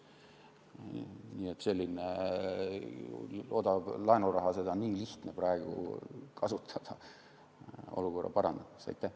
Nii et sellist odavat laenuraha oleks nii lihtne praegu kasutada olukorra parandamiseks.